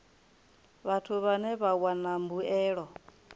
vhathu vhane vha wana mbuelo